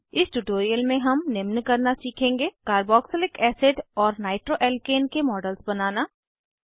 इस ट्यूटोरियल में हम निम्न करना सीखेंगे कार्बोक्सिलिक एसिड और नाइट्रोअल्काने के मॉडल्स बनाना